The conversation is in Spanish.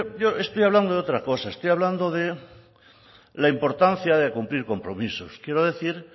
yo estoy hablando de otra cosa estoy hablando de la importancia de cumplir compromisos quiero decir